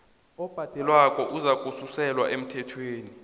obhadelwako uzakususelwa emthelweni